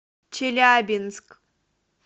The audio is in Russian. челябинск